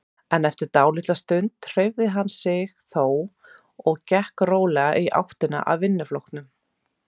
En eftir dálitla stund hreyfði hann sig þó og gekk rólega í áttina að vinnuflokknum.